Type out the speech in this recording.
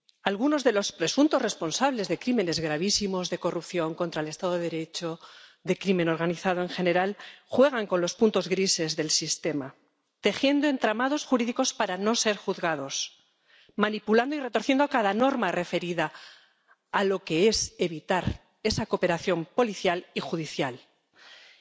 Algunos de los presuntos responsables de crímenes gravísimos de corrupción contra el estado de Derecho, de crimen organizado en general, juegan con los puntos grises del sistema, tejiendo entramados jurídicos para no ser juzgados, manipulando y retorciendo cada norma referida a esa cooperación policial y judicial para evitarla,